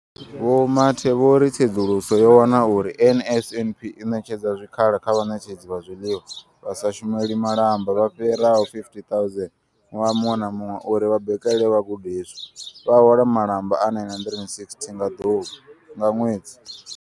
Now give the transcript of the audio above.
Vho Mathe vho ri tsedzuluso yo wana uri NSNP i ṋetshedza zwikhala kha vhaṋetshedzi vha zwiḽiwa vha sa shumeli malamba vha fhiraho 50 000 ṅwaha muṅwe na muṅwe uri vha bikele vhagudiswa, vha hola malamba a R960 nga ḓuvha nga ṅwedzi.